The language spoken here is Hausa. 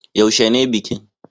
Yaushe ne bikin